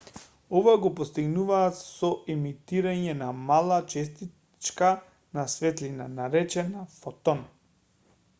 ова го постигнуваат со емитирање на мала честичка на светлина наречена фотон